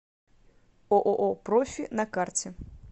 ооо профи на карте